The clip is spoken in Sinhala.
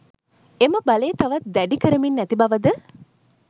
එම බලය තවත් දැඩි කරමින් ඇති බවද